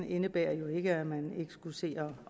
indebærer jo ikke at man ikke skulle se